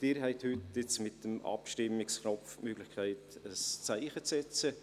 Sie haben heute, jetzt, mit dem Abstimmungsknopf die Möglichkeit, ein Zeichen zu setzen.